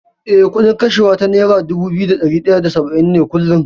Eh, kuɗin kashewa ta nera dubu biyu da ɗari ɗaya da saba’in ne kullum.